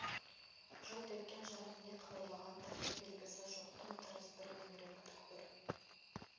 жылт еткен жарық не қыбырлаған тірлік белгісі жоқ тым-тырыс бір меңіреу түкпір